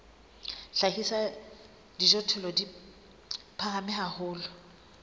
hlahisa dijothollo di phahame haholo